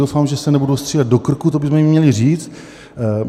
Doufám, že se nebudou střílet do krku, to bychom jim měli říct.